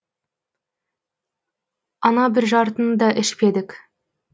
ана бір жартыны да ішпедік